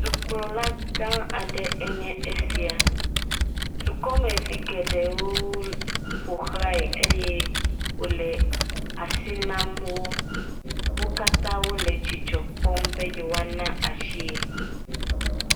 Dukplɔla gã aɖe nye esia. Dukɔmeviwo geɖewo ƒo xlãae eye wole asi nam wò. Wo katã wòle dzidzɔ kpɔm be yewoa na asie.